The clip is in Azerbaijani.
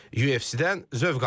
UFC-dən zövq alın.